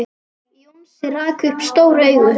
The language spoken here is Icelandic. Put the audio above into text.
Jónsi rak upp stór augu.